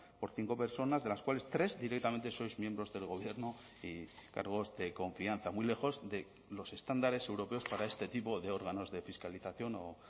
por cinco personas de las cuales tres directamente sois miembros del gobierno y cargos de confianza muy lejos de los estándares europeos para este tipo de órganos de fiscalización o